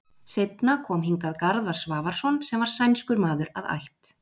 Seinna kom hingað Garðar Svavarsson sem var sænskur maður að ætt.